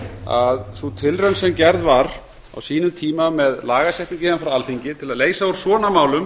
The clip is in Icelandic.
að sú tilraun sem gerð var á sínum tíma með lagasetningu héðan frá alþingi til að leysa úr svona málum